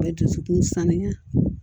dusukun sanuya